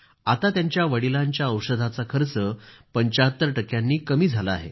आता त्यांचा वडिलांच्या औषधाचा खर्च 75 टक्क्यांनी कमी झाला आहे